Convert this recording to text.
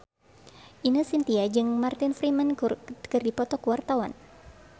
Ine Shintya jeung Martin Freeman keur dipoto ku wartawan